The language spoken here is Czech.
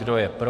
Kdo je pro?